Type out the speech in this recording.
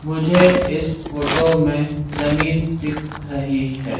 मुझे इस फोटो में जमीन दिख रही है।